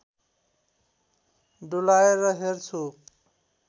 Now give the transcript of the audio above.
डुलाएर हेर्छु